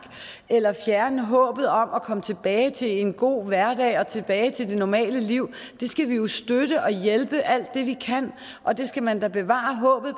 eller fjerne håbet om at komme tilbage til en god hverdag og tilbage til det normale liv det skal vi jo støtte og hjælpe alt det vi kan og det skal man da bevare håbet